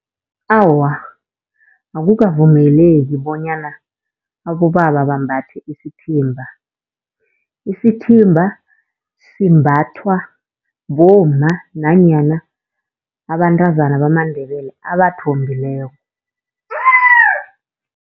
Awa, akukavumeleki bonyana abobaba bambathe isithimba. Isithimba simbathwa bomma nanyana abantazana bamaNdebele abathombileko.